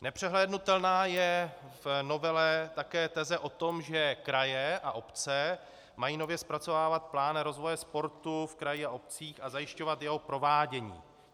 Nepřehlédnutelná je v novele také teze o tom, že kraje a obce mají nově zpracovávat plán rozvoje sportu a kraji a obcích a zajišťovat jeho provádění.